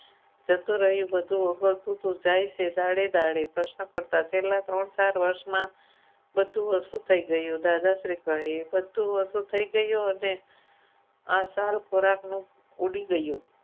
જતું રહ્યું બધું ઓગળતું જાય છે દાડે દાડે પ્રશ્ન કરતા છેલ્લા ત્રણ ચાર વર્ષમાં બધું વસ્તુ થઈ ગયું દાદાશ્રી કહે બધું વસ્તુ થઈ ગયું અને આ ચાર ખોરાકનું ઉડી ગયું.